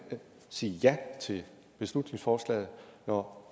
sige ja til beslutningsforslaget når